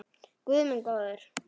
Guð minn góður!